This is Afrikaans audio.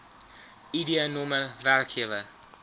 id nr werkgewer